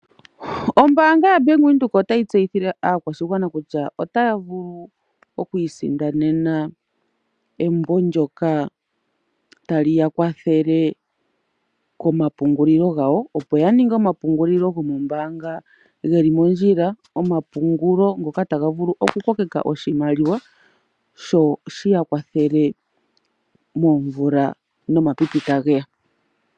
Ombaanga yaBank Windhoek otayi tseyithile aakwashigwana kutya otaya vulu oku isindanena embo ndyoka taliya kwathele komapungulilo gawo, opo ya ninge omapungulilo gomombaanga geli mondjila, omapungulo ngoka taga vulu oku kokeka oshimaliwa sho shiya kwathele moomvula nomapipi tage ya.